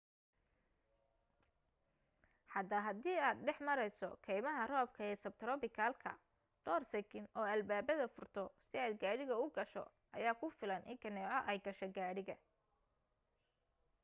xataa haddii aad dhex mareyso keymaha roobka ee sabtrobikalka dhoor sikin oo albaabada furto si aad gaariga u gasho ayaa ku filan in kaneeco ay gasho gaariga